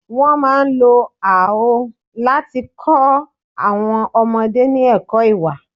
Wọ́n máa ń lo àọ́ láti kọ àwọn ọmọdé ní ẹ̀kọ́ ìwà.